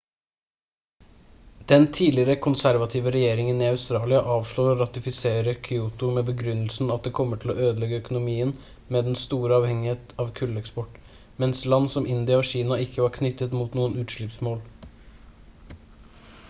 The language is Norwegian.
den tidligere konservative regjeringen i australia avslår å ratifisere kyoto med begrunnelsen at det kommer til å ødelegge økonomien med dens store avhengighet av kulleksport mens land som india og kina ikke var knyttet mot noen utslippsmål